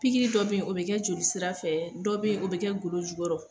Pikiri dɔ be ye o be kɛ joli sira fɛ, dɔ be ye o be kɛ golo jukɔrɔ